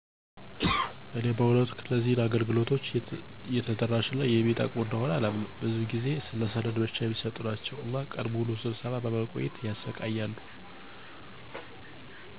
እኔ በእውነቱ እነዚህ አገልግሎቶች የተደራሽ እና የሚጠቅሙ እንደሆነ አላምንም፤ ብዙው ጊዜ ለሰነድ ብቻ የሚሰጡ ናቸው እና ቀን ሙሉ ሰብስቦ በማቆየት ያሰቃያሉ።